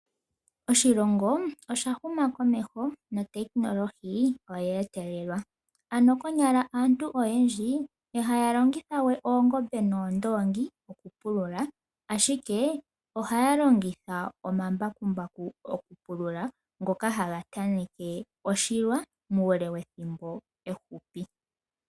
Oshilongo osha huma komeho notekinolohi oyetelelwa. Ano konyala aantu oyendji ihaya longitha we oongombe noondoongi okupulula ashike ohaya longitha omambakumbaku okupulula ngoka haga taneke oshilwa muule wethimbo ehupi.